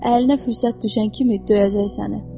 Əlinə fürsət düşən kimi döyəcək səni.